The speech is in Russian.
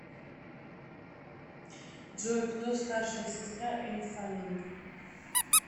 джой кто старшая сестра эль фаннинг